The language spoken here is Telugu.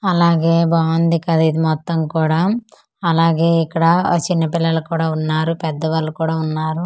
అలాగే బావుంది కద ఇది మొత్తం కూడా అలాగే ఇక్కడ అ చిన్న పిల్లలు కూడా వున్నారు పెద్దవాళ్ళు కూడా వున్నారు.